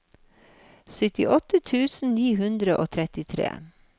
syttiåtte tusen ni hundre og trettitre